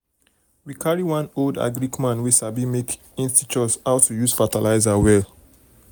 we carry one old agric man wey sabi make en teach us how to use fertilizer well well.